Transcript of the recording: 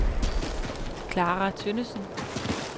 Clara Tønnesen